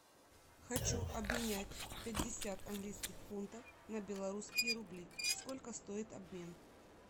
хочу обменять пятьдесят английских фунтов на белорусские рубли сколько стоит обмен